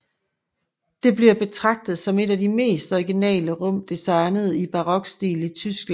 Det bliver betragtet som et af de mest originale rum designet i barokstil i Tyskland